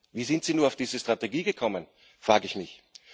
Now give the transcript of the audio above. Wie sind sie nur auf diese Strategie gekommen, frage ich mich.